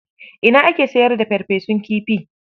Ina ake sayar da farfesun kifi?